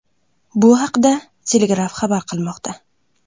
Bu haqda The Telegraph xabar qilmoqda .